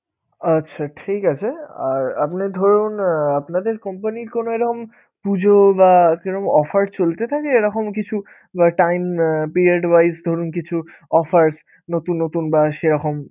আচ্ছা ঠিক আছে! আর আপনি ধরুন আপনাদের company র কোনো এরকম পুজো বা কিরম offer চলতে থাকে এরকম কিছু time period wise ধরুন কিছু offers নতুন নতুন বা সেরকম